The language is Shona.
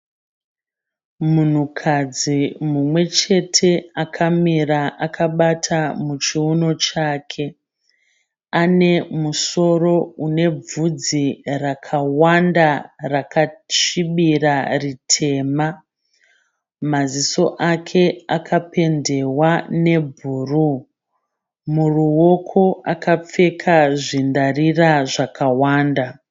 Munhukadzi mumwe chete akamira akabata muchiuno chake. Ane musoro une bvudzi rakawanda rakasvibira ritema. Maziso ake akapendewa nebhuruu. Muruoko akapfeka zvindarira zvakawanda.